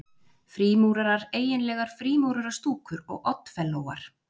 Frímúrarar-eiginlegar frímúrarastúkur og oddfellóar